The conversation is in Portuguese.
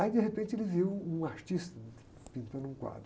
Aí, de repente, ele viu um artista pintando um quadro.